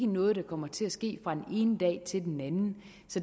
noget der kommer til at ske fra den ene dag til den anden